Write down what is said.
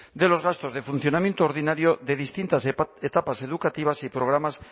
de los gastos de funcionamiento ordinario de distintas etapas educativas y programas